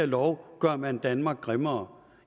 lov gør man danmark grimmere